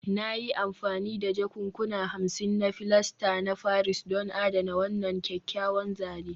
Na yi amfani da jakunkuna hamsin na filasta na Paris don adana wannan kyakkyawan zane